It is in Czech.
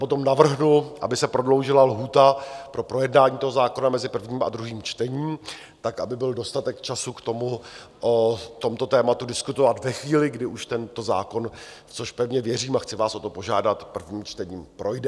Potom navrhnu, aby se prodloužila lhůta pro projednání toho zákona mezi prvním a druhým čtením tak, aby byl dostatek času k tomu, o tomto tématu diskutovat ve chvíli, kdy už tento zákon, v což pevně věřím a chci vás o to požádat, prvním čtením projde.